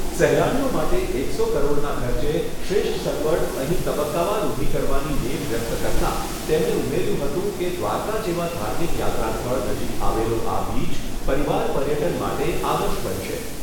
સહેલાણીઓ માટે એકસો કરોડના ખર્ચે શ્રેષ્ઠ સગવડ અહીં તબક્કાવાર ઊભી કરવાની નેમ વ્યકત કરતાં તેમણે ઉમેર્યું હતું કે દ્વારકા જેવા ધાર્મિક યાત્રા સ્થળ નજીક આવેલો આ બીચ પરિવાર પર્યટન માટે આદર્શ બનશે.